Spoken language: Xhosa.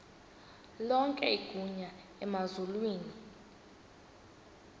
lonke igunya emazulwini